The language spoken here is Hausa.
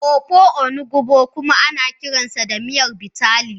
Ofe onugbu kuma ana kiranta da Miyar Bitterleaf